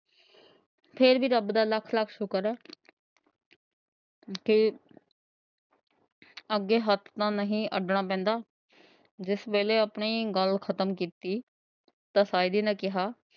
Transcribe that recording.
ਫ਼ੇਰ ਹੀ ਰੱਬ ਦਾ ਲੱਖ- ਲੱਖ ਸ਼ੁਕਰ ਹੈ। ਜਿੱਥੇ ਅੱਗੇ ਹੱਥ ਤਾਂ ਨਹੀਂ ਅੱਡਣਾ ਪੈਂਦਾ। ਜਿੱਸ ਵੇਲੇ ਆਪਣੀ ਗੱਲ ਖ਼ਤਮ ਕੀਤੀ ਤਾਂ ਸਾਇਦੀ ਨੇਂ ਕਿਹਾ।